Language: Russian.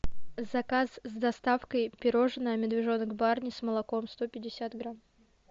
заказ с доставкой пирожное медвежонок барни с молоком сто пятьдесят грамм